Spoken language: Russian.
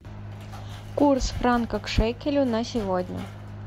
курс франка к шекелю на сегодня